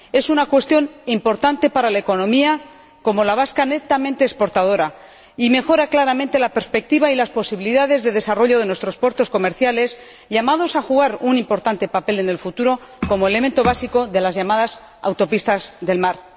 Es una cuestión importante para una economía como la vasca, netamente exportadora, y mejora claramente la perspectiva y las posibilidades de desarrollo de nuestros puertos comerciales, llamados a jugar un importante papel en el futuro como elemento básico de las llamadas autopistas del mar.